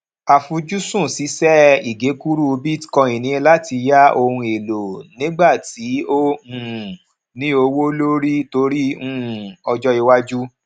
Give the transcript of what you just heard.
àfujúsùn ṣíṣe ìgekúrú bitcoin ní láti yá òhun èlò nígbà tí ó um ní owó lórí torí um ọjó iwájú